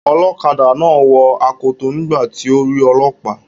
Ọlọ́kadà náà wọ akoto nígbà tí ó rí ọlọ́pàá.